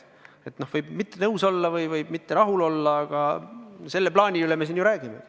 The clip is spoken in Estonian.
Sellega võib mitte nõus olla või mitte rahul olla, aga sellest plaanist me siin ju räägime.